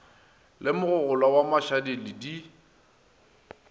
le mogogolwa wa mašaledi di